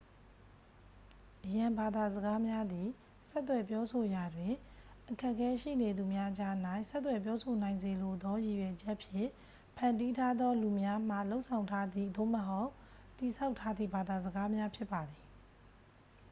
အရန်ဘာသာစကားများသည် ဆက်သွယ်ပြောဆိုရာတွင် အခက်ခဲရှိနေသူများကြား၌ ဆက်သွယ်ပြောဆိုနိုင်စေလိုသောရည်ရွယ်ချက်ဖြင့် ဖန်တီးထားသော လူများမှလုပ်ဆောင်ထားသည့် သို့မဟုတ် တည်ဆောက်ထားသည့်ဘာသာစကားများဖြစ်ပါသည်